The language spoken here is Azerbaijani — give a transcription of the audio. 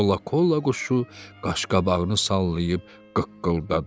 Kolokola quşu qaşqabağını sallayıb qıqqıldadı.